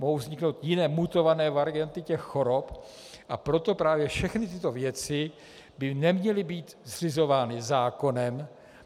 Mohou vzniknout jiné mutované varianty těch chorob, a proto právě všechny tyto věci by neměly být zřizovány zákonem.